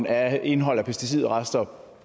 af indholdet af pesticidrester